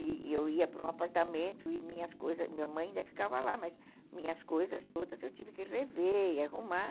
E eu ia para um apartamento e minhas coisas... Minha mãe ainda ficava lá, mas minhas coisas todas eu tive que rever e arrumar.